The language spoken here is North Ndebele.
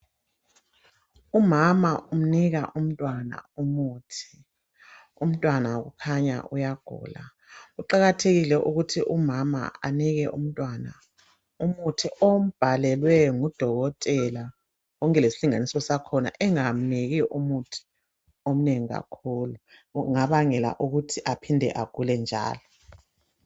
Umama umnika umntwana umuthi, umntwana kukhanya uyagula, kuqakathekile ukuthi umama anike umntwana umuthi ombhalelwe ngudokotela konke lesilinganiso sakhona, engamniki umuthi omnengi kakhulu, kungabangela ukuthi aphinde agule njalo.